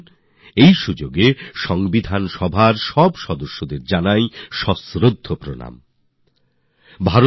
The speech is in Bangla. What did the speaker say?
আসুন এই উপলক্ষ্যে আমরা সংবিধান সভার সব সদস্যকে সমাদরে নমস্কার করি নিজেদের শ্রদ্ধা জানাই